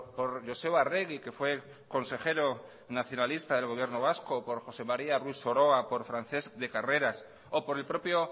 por joseba arregi que fue consejero nacionalista del gobierno vasco por josé maría ruiz soroa por francesc de carreras o por el propio